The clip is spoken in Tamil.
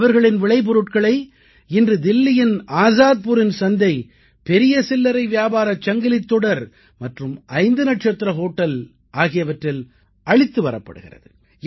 அவர்களின் விளைபொருட்களை இன்று தில்லியின் ஆஸாத்புரின் சந்தை பெரிய சில்லரை வியாபார சங்கிலித் தொடர் மற்றும் ஐந்து நட்சத்திர ஹோட்டல் ஆகியவற்றில் அளித்து வரப்படுகிறது